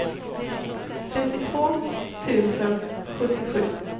trettiotvå tusen sjuttiosju